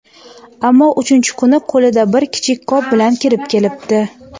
ammo uchinchi kuni qo‘lida bir kichik qop bilan kirib kelibdi.